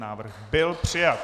Návrh byl přijat.